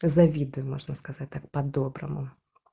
завидую можно сказать так по-доброму